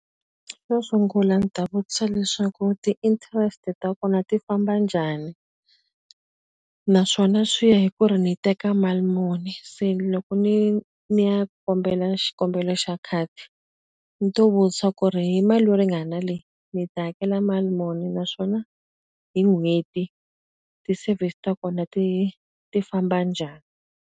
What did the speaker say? Xo sungula ndzi ta vutisa leswaku ti-interest ta kona ti famba njhani? Naswona swi ya hi ku ri ni teka mali muni. Se loko ni ni ya kombela xikombelo xa khadi, ni to vutisa ku ri hi mali yo ringana leyi ni ta hakela mali muni? Naswona hi n'hweti, ti-service ta kona ti ti famba njhani?